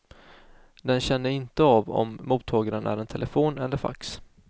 Den känner inte av om mottagaren är en telefon eller fax.